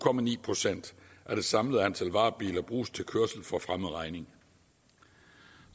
procent af det samlede antal varebiler bruges til kørsel for fremmed regning